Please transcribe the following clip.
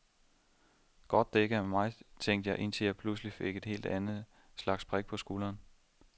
Godt det ikke er mig tænkte jeg indtil jeg pludselig fik et helt andet slags prik på skulderen.